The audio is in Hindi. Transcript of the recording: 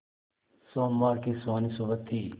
सोमवार की सुहानी सुबह थी